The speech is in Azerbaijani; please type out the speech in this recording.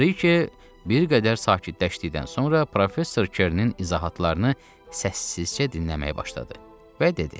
Briki bir qədər sakitləşdikdən sonra professor Kernin izahatlarını səssizcə dinləməyə başladı və dedi: